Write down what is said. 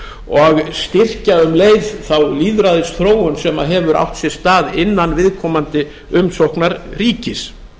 og styrkja um leið þá lýðræðisþróun sem hefur átt sér stað innan viðkomandi umsóknar ríkis